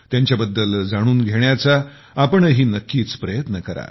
त्यांच्या बद्दल जाणून घेण्याचा आपणही नक्कीच प्रयत्न करा